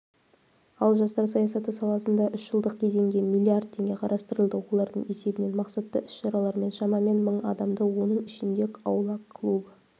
ал жастар саясаты саласында үш жылдық кезеңге млрд теңге қарастырылды олардың есебінен мақсатты іс-шаралармен шамамен мың адамды оның ішінде аула клубы